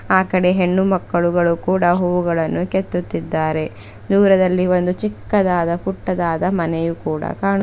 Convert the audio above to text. ಆಕಡೆ ಹೆಣ್ಣು ಮಕ್ಕಳುಗಳು ಕೂಡ ಹೂವೂಗಳನ್ನು ಕಿತ್ತುತ್ತಿದ್ದಾರೆ ದೂರದಲ್ಲಿ ಒಂದು ಚಿಕ್ಕದಾದ ಪುಟ್ಟದಾದ ಮನೆಯು ಕೂಡ ಕಾಣು--